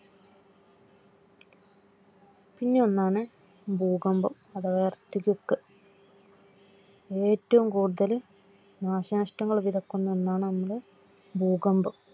പിന്നെന്നാണ് ഭൂകമ്പം അഥവാ Earthquake ഏറ്റവും കൂടുതൽ നാശനഷ്ടം വിതക്കുന്ന ഒന്നാണ് ഭൂകമ്പം